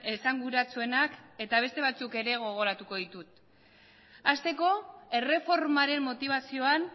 esanguratsuenak eta beste batzuk ere gogoratuko ditut hasteko erreformaren motibazioan